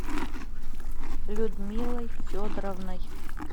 людмилой федоровной